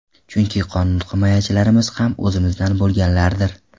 Chunki qonun himoyachilarimiz ham o‘zimizdan bo‘lganlardir.